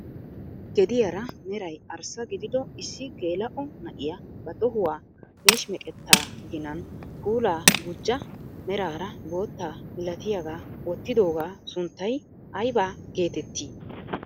Gediyaa mray arssa gidido issi geela'o na'iyaa ba tohuwaa meeshimeqettaa ginan puulaa gujjiyaa meraara bootta milatiyaagaa woottigogaa sunttay ayba getettii?